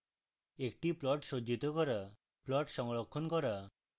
একটি plot সজ্জিত করা